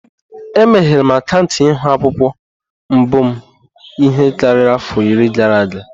Emeghere m akaụntụ Ihu-akwukwuo mbụ m ihe karịrị afọ iri gara aga.